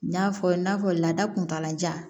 N y'a fɔ i n'a fɔ laada kuntalajan